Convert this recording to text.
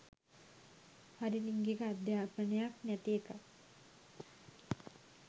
හරි ලිංගික අධ්‍යපනයක් නැති එකත්